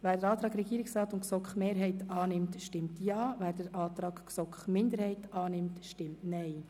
Wer den Antrag Regierungsrat/GSoKMehrheit annimmt, stimmt Ja, wer den Antrag GSoK-Minderheit annimmt, stimmt Nein.